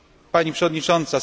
Pani przewodnicząca!